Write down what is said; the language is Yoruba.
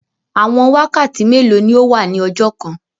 Àwọn wakàtí mẹ́lò ni ọ wà ní ọjọ́ kàn?